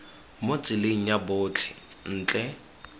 mo tseleng ya botlhe ntle